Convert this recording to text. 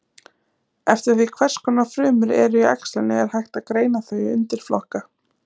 Eftir því hvers konar frumur eru í æxlinu er hægt að greina þau í undirflokka.